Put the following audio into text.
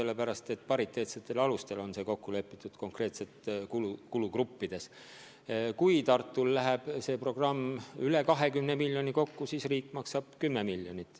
Konkreetsetes kulugruppides on kokku lepitud pariteetsetel alustel: kui programm läheb kokku maksma üle 20 miljoni, siis riik maksab 10 miljonit.